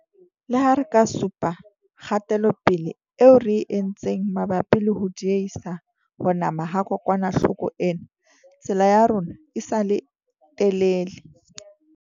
Le ha re ka supa kgatelopele eo re e entseng mabapi le ho diehisa ho nama ha kokwanahloko ena, tsela ya rona e sa le telele.